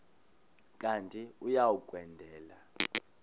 kanti uia kwendela